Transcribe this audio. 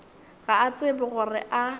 ga a tsebe gore a